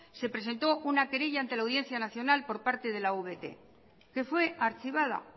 se presentó una querella ante la audiencia nacional por parte de la avt que fue archivada